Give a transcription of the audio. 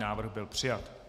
Návrh byl přijat.